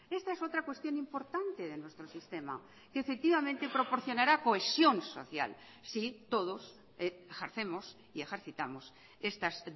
esta es otra cuestión importante de nuestro sistema que efectivamente proporcionará cohesión social sí todos ejercemos y ejercitamos estas